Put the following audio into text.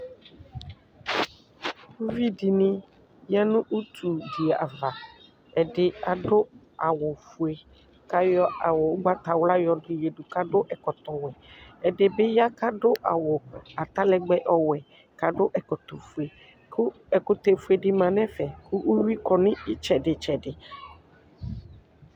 Ʋvi dini ya nʋ utudi ava ɛdi adʋ awʋfue kʋ ayɔ kʋ ayɔ awʋ ʋgbatawla yadʋ adʋ ɛkɔtɔwʋɛ ɛdibi ya kʋ adʋ atalɛgbɛ ɔwɛ kʋ adʋ kʋ ɛkʋtɛfue di manʋ ɛfɛ kʋ uwi kɔnʋ itsɛdi tsɛdi